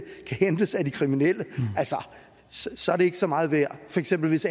kan hentes af de kriminelle så er det ikke så meget værd for eksempel hvis